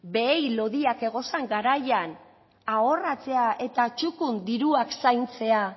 behi lodiak egozen garaian ahorratzea eta txukun diruak zaintzea